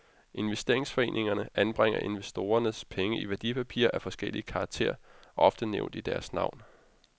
Investeringsforeningerne anbringer investorernes penge i værdipapirer af forskellig karakter, ofte nævnt i deres navn.